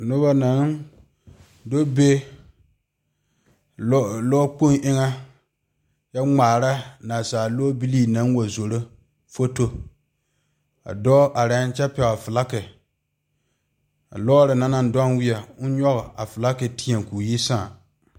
Noba naŋ do be lɔ kpoŋ eŋa kyɛ ŋmaare naasaale lɔbile naŋ wa zoro foto a dɔɔ are kyɛ pegle falakyɛ a lɔre na naŋ dewiɛ o nyoŋ a falakyɛ teɛ koo yi saa.